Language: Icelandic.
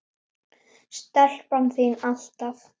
Stelpan þín, alltaf.